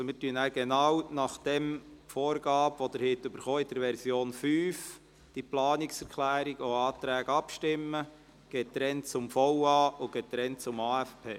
Also: Wir gehen dann genau nach der Vorgabe in der Version 5, die Sie erhalten haben, vor und stimmen über die Planungserklärungen und Anträge getrennt nach VA und AFP ab.